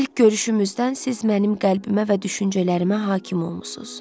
İlk görüşümüzdən siz mənim qəlbimə və düşüncələrimə hakim olmusunuz.